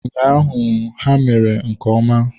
Ụnyaahụ ha mere nke ọma.